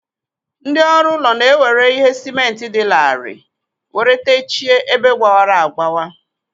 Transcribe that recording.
Ndị ọrụ ụlọ na e were ihe sịmentị dị larịị were techie ebe gbawara agbawa.